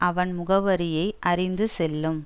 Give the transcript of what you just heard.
அவன் முகவரியை அறிந்து செல்லும்